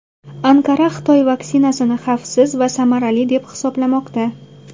Anqara Xitoy vaksinasini xavfsiz va samarali deb hisoblamoqda.